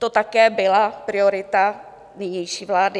To také byla priorita nynější vlády.